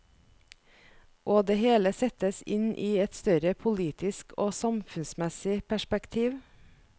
Og det hele settes inn i et større politisk og samfunnsmessig perspektiv.